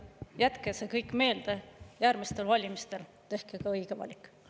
Jätke see meelde järgmistel valimistel, tehke ka õige valik.